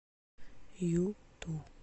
юту